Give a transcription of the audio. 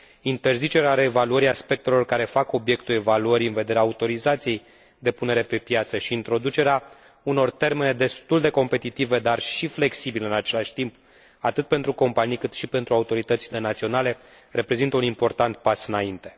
Interzicerea reevaluării aspectelor care fac obiectul evaluării în vederea autorizației de punere pe piață și introducerea unor termene destul de competitive, dar și flexibile în același timp, atât pentru companii, cât și pentru autoritățile naționale, reprezintă un important pas înainte.